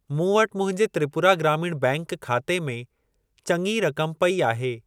मूं वटि मुंहिंजे त्रिपुरा ग्रामीण बैंक खाते में चङी रक़म पई आहे।